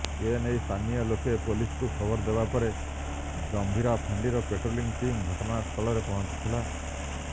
ଏ ନେଇ ସ୍ଥାନୀୟ ଲୋକେ ପୁଲିସକୁ ଖବର ଦେବାପରେ ଜମ୍ଭୀରା ଫାଣ୍ଡିର ପାଟ୍ରୋଲିଂ ଟିମ୍ ଘଟଣାସ୍ଥଳରେ ପହଞ୍ଚିଥିଲା